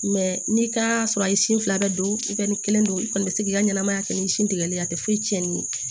n'i ka sɔrɔ a ye sin fila bɛɛ don i kɔni kelen don i kɔni bɛ se k'i ka ɲɛnɛmaya kɛ ni sin tigɛli ye a tɛ foyi cɛnni ye